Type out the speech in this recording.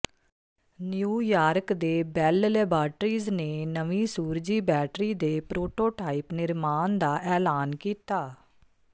new York ਦੇ Bell laboratories ਨੇ ਨਵੀਂ ਸੂਰਜੀ ਬੈਟਰੀ ਦੇ ਪ੍ਰੋਟੋਟਾਈਪ ਨਿਰਮਾਣ ਦਾ ਐਲਾਨ ਕੀਤਾ